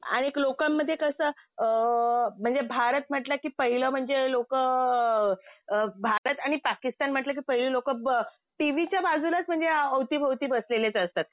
आणि एक लोकांमध्ये कसं अ म्हणजे भारत म्हटलं कि पहिले म्हणजे लोकं अ भारत आणि पाकिस्तान म्हटलं कि पहिले लोकं टीव्हीच्या बाजूलाच म्हणजे अवतीभोवती बसलेलेच असतात.